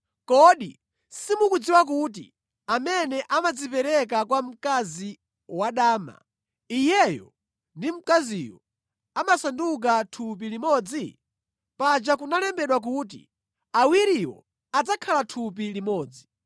Kodi simukudziwa kuti amene amadzipereka kwa mkazi wadama, iyeyo ndi mkaziyo amasanduka thupi limodzi? Paja kunalembedwa kuti, “Awiriwo adzakhala thupi limodzi.”